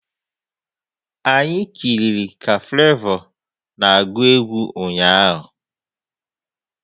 Anyị kiriri ka Flavour na agu egwu ụnyaahụ